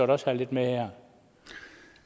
også have lidt med her